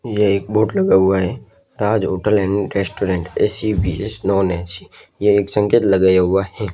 ये एक बोर्ड लगा हुआ है Taj hotel and restaurant A C भी है नॉन ए_सी ये एक संकेत लगाया हुआ हैं।